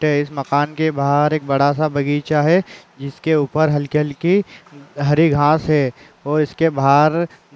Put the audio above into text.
इस मकान के बाहर एक बड़ा सा बगीचा है जिसके ऊपर हल्की-हल्की हरी घास है और इसके बाहर --